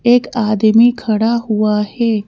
एक आदमी खड़ा हुआ है।